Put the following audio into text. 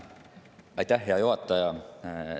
Aitäh, hea juhataja!